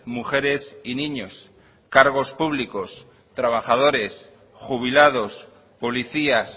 mujeres y niños cargos públicos trabajadores jubilados policías